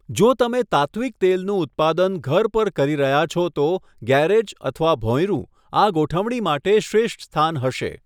જો તમે તાત્ત્વિક તેલનું ઉત્પાદન ઘર પર કરી રહ્યા છો તો ગૅરેજ અથવા ભોંયરું આ ગોઠવણી માટે શ્રેષ્ઠ સ્થાન હશે.